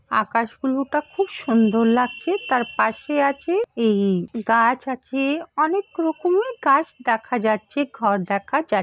আকাশ গুলোটা খুব সুন্দর লাগছে তার পাশে আছে এই গাছ আছে অনেক রকমের গাছ দেখা যাচ্ছে ঘর দেখা যা --